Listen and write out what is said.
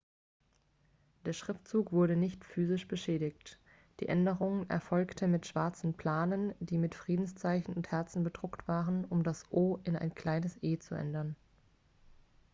der schriftzug wurde nicht physisch beschädigt die änderung erfolgte mit schwarzen planen die mit friedenszeichen und herzen bedruckt waren um das o in ein kleines e zu ändern